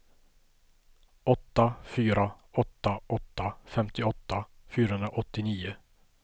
åtta fyra åtta åtta femtioåtta fyrahundraåttionio